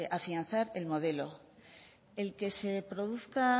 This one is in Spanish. afianzar el modelo el que se produzca